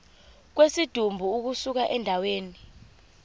kwesidumbu ukusuka endaweni